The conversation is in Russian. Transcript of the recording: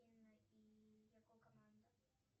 и его команда